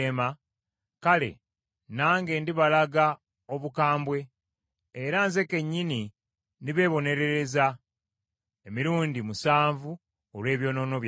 kale, nange ndibalaga obukambwe, era nze kennyini ndibeebonerereza emirundi musanvu olw’ebyonoono byammwe.